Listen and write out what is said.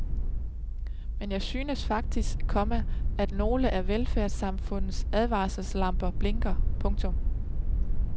Men jeg synes faktisk, komma at nogle af velfærdssamfundets advarselslamper blinker. punktum